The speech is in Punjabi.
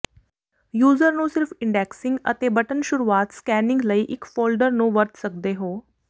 ਯੂਜ਼ਰ ਨੂੰ ਸਿਰਫ ਇੰਡੈਕਸਿੰਗ ਅਤੇ ਬਟਨ ਸ਼ੁਰੂਆਤ ਸਕੈਨਿੰਗ ਲਈ ਇੱਕ ਫੋਲਡਰ ਨੂੰ ਵਰਤ ਸਕਦੇ ਹੋ